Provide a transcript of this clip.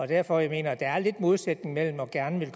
derfor jeg mener at der er lidt modsætning mellem gerne